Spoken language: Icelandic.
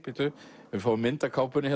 ef við fáum mynd af kápunni